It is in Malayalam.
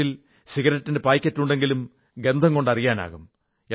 അവന്റെ പോക്കറ്റിൽ സിഗരറ്റിന്റെ പായ്ക്കറ്റുണ്ടെങ്കിലും ഗന്ധം കൊണ്ട് അതറിയാനാകും